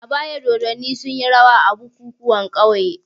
A baya dodanni sunyi rawa a bukukuwan ƙauye.